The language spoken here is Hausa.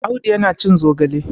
Audu yana cin zogale.